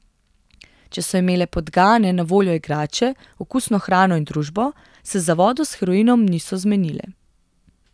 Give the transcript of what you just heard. Če so imele podgane na voljo igrače, okusno hrano in družbo, se za vodo s heroinom niso zmenile.